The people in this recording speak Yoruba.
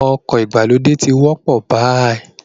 Ọkọ̀ ìgbàlódé ti ń wọ́pọ̀ báyìí